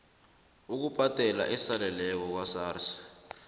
ukubhadela esaleleko kwasars